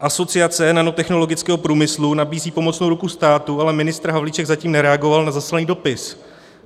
Asociace nanotechnologického průmyslu nabízí pomocnou ruku státu, ale ministr Havlíček zatím nereagoval na zaslaný dopis.